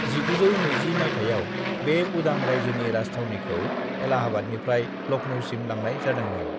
"1920 माइथायाव, बे उदां रायजोनि राजथावनिखौ इलाहाबादनिफ्राय लखनऊसिम लांनाय जादोंमोन।"